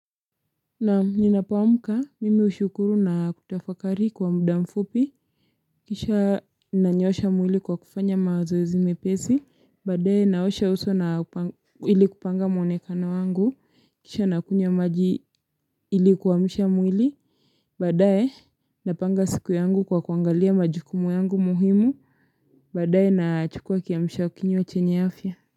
Naam, ninapoamka mimi hushukuru na kutafakari kwa muda mfupi. Kisha nanyoosha mwili kwa kufanya mazoezi mepesi. Baadae, naosha uso ili kupanga mwonekano wangu. Kisha nakunywa maji ili kuamsha mwili. Baadae napanga siku yangu kwa kuangalia majukumu yangu muhimu. Badae, nachukua kiamsha kinywa chenya afya.